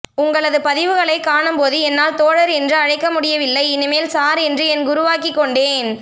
உங்களது பதிவுகளை காணும்போது என்னால் தோழர் என்று அழைக்க முடியவில்லை இனிமேல் சார் என்று என் குருவாக்கிக்கொண்டேன்